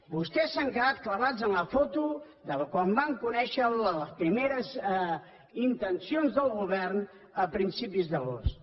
vostès s’han quedat clavats en la foto de quan van conèixer les primeres intencions del govern a principis d’agost